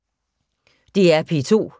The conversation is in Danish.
DR P2